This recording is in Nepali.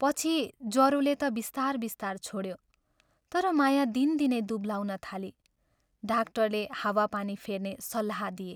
पछि जरोले ता बिस्तार बिस्तार छोड्यो तर माया दिनदिनै दुब्लाउन थाली डाक्टरले हावा पानी फेर्ने सल्लाह दिए।